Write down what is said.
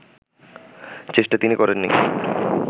চেষ্টা তিনি করেননি